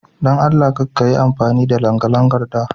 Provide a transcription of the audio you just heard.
Don Allah Kar kayi amfani da langalangan da.